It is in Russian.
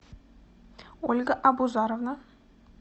ольга абузаровна